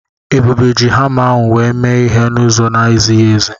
Ebube ji hama ahụ wee mee ihe n'ụzọ na-ezighi ezi.